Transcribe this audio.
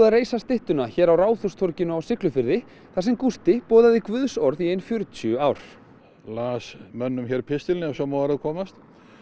reisa styttuna hér á Ráðhústorginu á Siglufirði þar sem Gústi boðaði guðs orð í ein fjörutíu ár las mönnum hér pistilinn ef svo má að orði komast